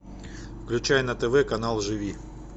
включай на тв канал живи